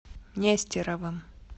нестеровым